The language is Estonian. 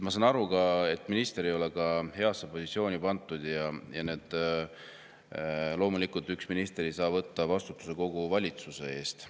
Ma saan aru, et minister ei ole heasse positsiooni pandud, ja loomulikult üks minister ei saa võtta vastutust kogu valitsuse eest.